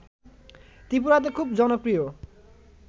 ত্রিপুরাতে খুব জনপ্রিয়